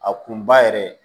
A kun ba yɛrɛ